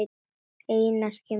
Þeim Einari kemur vel saman.